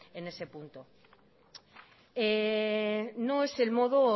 en ese punto no es el modo